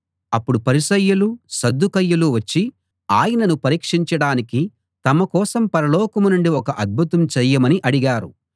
అప్పుడు పరిసయ్యులు సద్దూకయ్యులు వచ్చి ఆయనను పరీక్షించడానికి తమ కోసం పరలోకం నుండి ఒక అద్భుతం చెయ్యమని అడిగారు